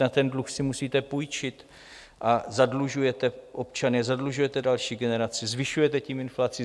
Na ten dluh si musíte půjčit a zadlužujete občany, zadlužujete další generace, zvyšujete tím inflaci.